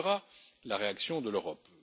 Quelle sera la réaction de l'Europe?